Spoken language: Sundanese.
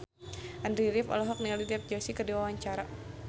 Andy rif olohok ningali Dev Joshi keur diwawancara